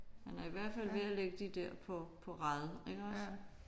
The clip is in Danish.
Han er i hvert fald ved at lægge de der på på rad iggås